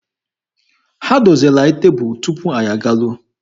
Ha doziri anyị tebụlụ tupu anyị agaruo.